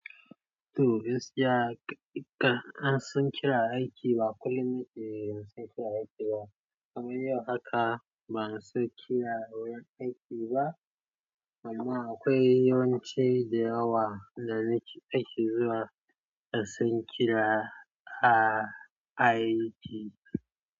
Toh gaskiya ƙa an san kira aiki ba kullum nike yanzu an kira aiki ba. Kamar yau haka ban san kira wurin aiki ba, amma akwai yawanci da yawa da nike aiki zuwa da sun kira aiki.